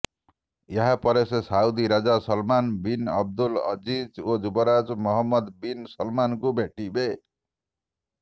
ଏହାପରେ ସେ ସାଉଦି ରାଜା ସଲମାନ୍ ବିନ୍ ଅବଦୁଲ ଅଜିଜ୍ ଓ ଯୁବରାଜ ମହମ୍ମଦ ବିନ୍ ସଲମାନଙ୍କୁ ଭେଟିବେ